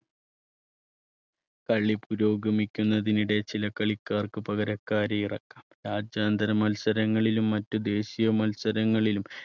കളി പുരോഗമിക്കുന്നതിനിടയിൽ ചില കളിക്കാർക്ക് പകരക്കാരെ ഇറക്കാം രാജ്യാന്തര മത്സരങ്ങളിലും മറ്റ് ദേശീയ മത്സരങ്ങളിലും